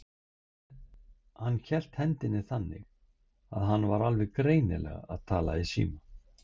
Hann hélt hendinni þannig, að hann var alveg greinilega að tala í síma.